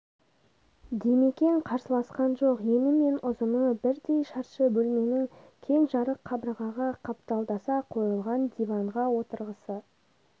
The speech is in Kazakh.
димекең қарсыласқан жоқ ені мен ұзыны бірдей шаршы бөлменің кең жарық қабырғаға қапталдаса қойылған диванға отырғысы